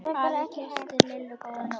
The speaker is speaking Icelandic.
Afi kyssti Lillu góða nótt.